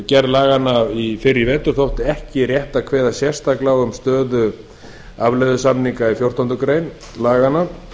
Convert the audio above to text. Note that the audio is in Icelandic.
gerð laganna fyrr í vetur þótti ekki rétt að kveða sérstaklega á um stöðu afleiðusamninga í fjórtándu greinar laganna